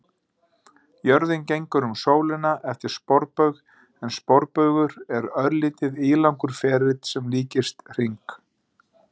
Jörðin gengur um sólina eftir sporbaug en sporbaugur er örlítið ílangur ferill sem líkist hring.